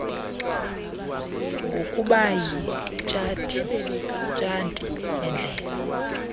ngokuba yitshati yendlela